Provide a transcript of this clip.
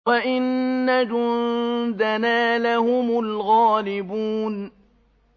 وَإِنَّ جُندَنَا لَهُمُ الْغَالِبُونَ